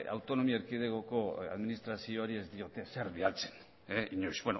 autonomi erkidegoko administrazioari ez diote ezer bidaltzen inoiz